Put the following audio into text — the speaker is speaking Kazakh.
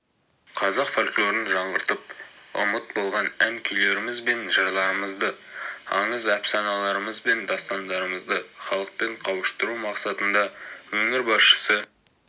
қазақ фольклорын жаңғыртып ұмыт болған ән-күйлеріміз бен жырларымызды аңыз-әпсаналарымыз бен дастандарымызды халықпен қауыштыру мақсатында өңір басшысы